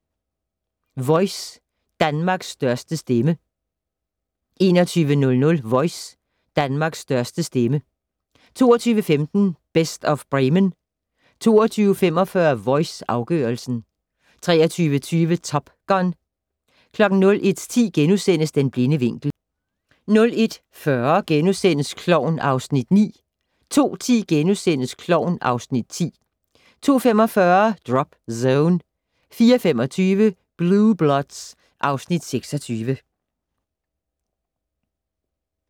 21:00: Voice - Danmarks største stemme 22:15: Best of Bremen 22:45: Voice - afgørelsen 23:20: Top Gun 01:10: Den blinde vinkel * 01:40: Klovn (Afs. 9)* 02:10: Klovn (Afs. 10)* 02:45: Drop Zone 04:25: Blue Bloods (Afs. 26)